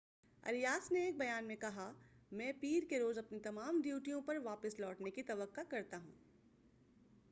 Arias نے ایک بیان میں کہا میں پیر کے روز اپنی تمام ڈیوٹیوں پر واپس لوٹنے کی توقع کرتا ہوں ۔